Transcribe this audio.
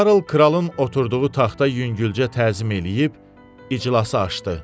Karl kralın oturduğu taxta yüngülcə təzim eləyib iclası açdı.